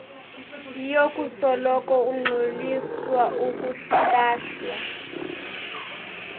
yokusoloko ungxoliswa ukulahlwa